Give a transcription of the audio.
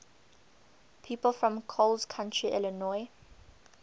people from coles county illinois